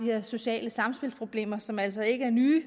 her sociale samspilsproblemer som altså ikke er nye